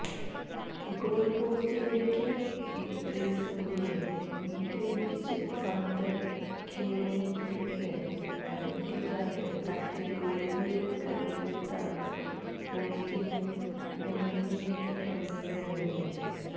goal പോസ്റ്റിലേക്ക് Idrissa Gueye നീട്ടിയടിച്ച പന്ത് കിയോനെക്കിന്റെ അരയ്ക്കു താഴെ തട്ടി ഗോളിയുടെ കൈയിലെത്താതെ പോസ്റ്റിന്റെ മൂലയിലേക്ക് കയറുകയായിരുന്നു